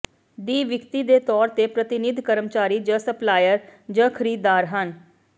ਦੀ ਵਿਕਰੀ ਦੇ ਤੌਰ ਤੇ ਪ੍ਰਤੀਨਿਧ ਕਰਮਚਾਰੀ ਜ ਸਪਲਾਇਰ ਜ ਖਰੀਦਦਾਰ ਹਨ